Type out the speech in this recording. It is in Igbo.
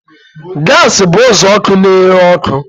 Gas bụ uzuọkụ na-ere ọkụ